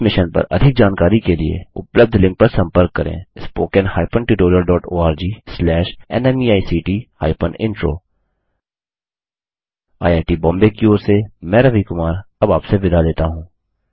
इस मिशन पर अधिक जानकारी के लिए उपलब्ध लिंक पर संपर्क करें httpspoken tutorialorgNMEICT Intro IIT Bombay की ओर से मैं रवि कुमार अब आपसे विदा लेता हूँ